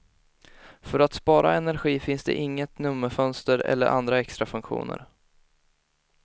För att spara energi finns inget nummerfönster eller andra extra funktioner.